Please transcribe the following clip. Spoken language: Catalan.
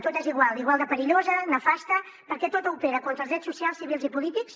tot és igual i igual de perillosa nefasta perquè tota opera contra els drets socials civils i polítics